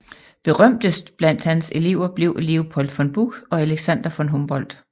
Berømtest blandt hans Elever blev Leopold von Buch og Alexander von Humboldt